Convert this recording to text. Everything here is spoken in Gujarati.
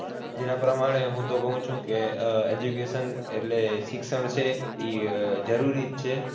જેના પ્રમાણે હું તો કહું છું કે આહ education એટલે શિક્ષણ છે ઈ જરૂરી જ છે.